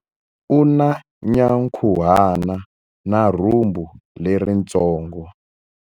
U na nyankhuhana na rhumbu leritsongo.